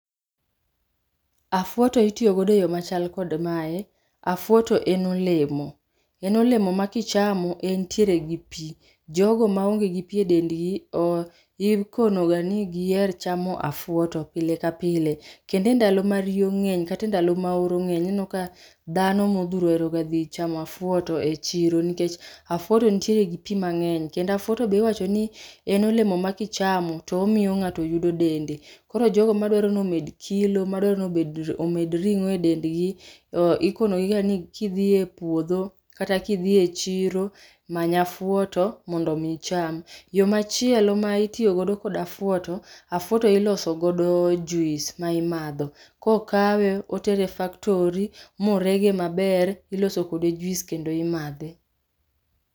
Afwoto itiogodo e yoo machal kod mae, afwoto en olemo, en olemo ma kicham entiere gi pii. Jogo maonge gi pii e dendgi ooh ikonoga ni gier chamo afwoto pile kapile. Kendo e ndalo ma rio ng'eny kata e ndalo ma oro ng'eny ineno ka dhano modhuro oeroga dhi chamo afwoto e chiro, nikech afwoto ntiere gi pii mang'eny kendo afwoto be iwachoni ni en olemo ma kichamo to omio ng'ato yudo dende. Koro jogo madwaro ni omedo kilo madwaro nobed omed ring'o e dendgi oh ikonogiga ni kidhie pwodho kata kidhie chiro, many afwoto mondo mii icham. Yoo machielo ma itiogodo kod afwoto, afwoto iloso godo juice ma imadho. Kokawe, otere e factory morege maber, iloso kode juice kendo imadhe.